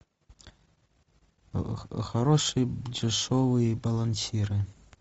хорошие дешевые балансиры